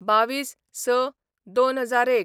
२२/०६/२००१